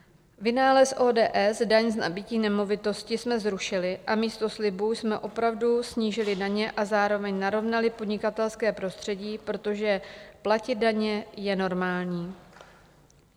Vynález ODS, daň z nabytí nemovitosti, jsme zrušili a místo slibů jsme opravdu snížili daně a zároveň narovnali podnikatelské prostředí, protože platit daně je normální.